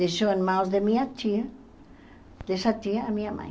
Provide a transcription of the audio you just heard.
Deixou em mãos de minha tia, dessa tia, a minha mãe.